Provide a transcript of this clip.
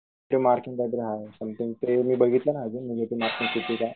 ते मार्किंग वगैरे आहे समथींग ते मी बघितलं नाय अजून निगेटिव्ह मार्किंग किती? काय?